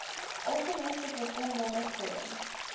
algemeenste voorkombare vorm